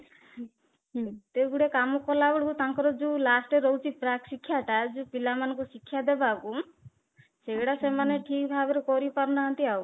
ହୁଁ ଏତେ ଗୁଡ଼େ କାମ କଲା ବେଳକୁ ତାଙ୍କର ଯୋଉ last ରେ ରହୁଛି ପ୍ରାକ ଶିକ୍ଷା ଟା ଯୋଉ ପିଲାମାନଙ୍କୁ ଶିକ୍ଷା ଦେବାକୁ ସେଟା ସେମାନେ ଠିକ ଭାବରେ କରିପାରୁନାହାନ୍ତି ଆଉ